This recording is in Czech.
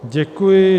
Děkuji.